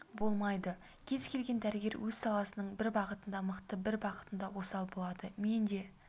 болмайды кез келген дәрігер өз саласының бір бағытында мықты бір бағытында осал болыды мен де